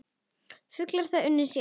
Fuglinn þar unir sér.